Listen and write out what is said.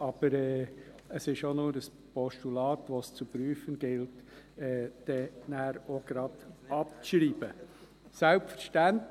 Aber es ist auch nur ein Postulat, das es «zu prüfen gilt» und das dann auch gleich abzuschreiben ist.